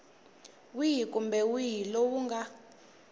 wihi kumbe wihi lowu nga